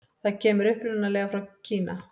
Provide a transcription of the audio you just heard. Það kemur upprunalega frá Kína.